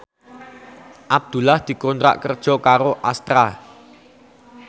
Abdullah dikontrak kerja karo Astra